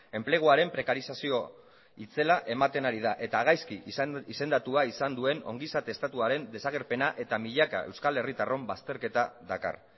enpleguaren prekarizazio itzela ematen ari da eta gaizki izendatua izan duen ongizate estatuaren desagerpena eta milaka euskal herritarron bazterketa dakar